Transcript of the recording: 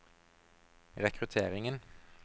rekrutteringen